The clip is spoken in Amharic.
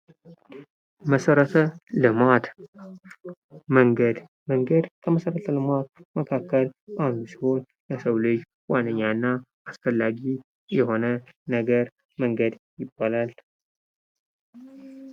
መሰረተ ልማት፦ መንገድ፦ መንገድ ለመሰረተ ልማት መካክላ አንዱ ሲሆን ለሰው ልጆች ዋነኛ እና አስፈላጊ የሆነ ነገር መንገድ ይባላል።